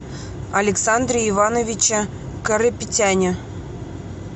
александре ивановиче карапетяне